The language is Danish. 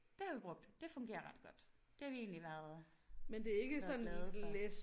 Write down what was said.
Det har vi brugt det fungerer ret godt det har vi egentlig været været glade for